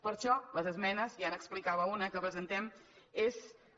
per això les esmenes ja n’explicava una que presentem són